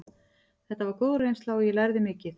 Þetta var góð reynsla og ég lærði mikið.